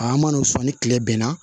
A mana o sɔn ni kile bɛnna